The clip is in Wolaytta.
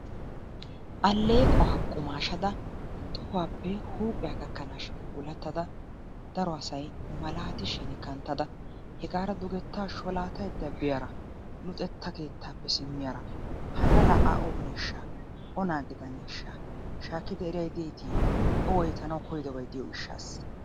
Alleequwa qumaashada tohuwappe huuphiya gakkanaashin puulattada daro asay malaatishin kanttada hegaara dugettaa sholaataydda biyara, luxetta keettaappe simmiyara hanna laa A ooneeshsha? Onaa gidaneeshsha? Shaakkidi eriyay deetii? O woytanawu koyidobay diyo gishsaassa.